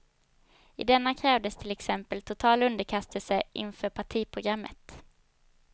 I denna krävdes till exempel total underkastelse inför partiprogrammet.